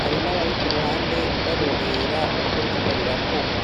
,hari n'abari kuruhande barorera uko biriko birakorwa.